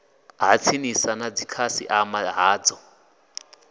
ha tsinisa na dzikhasiama dzao